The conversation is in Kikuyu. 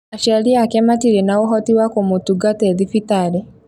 Aciari aake matirĩ na ũhoti wa kũmũtungata e thibitarĩ